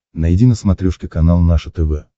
найди на смотрешке канал наше тв